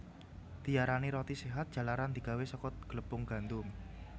Diarani roti séhat jalaran digawé saka glepung gandum